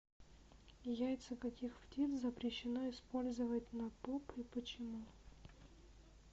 яйца каких птиц запрещено использовать на поп и почему